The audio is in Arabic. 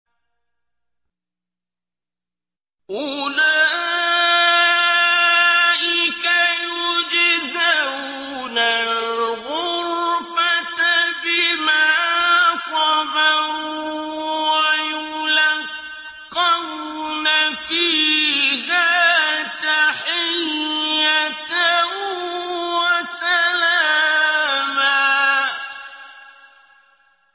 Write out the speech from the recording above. أُولَٰئِكَ يُجْزَوْنَ الْغُرْفَةَ بِمَا صَبَرُوا وَيُلَقَّوْنَ فِيهَا تَحِيَّةً وَسَلَامًا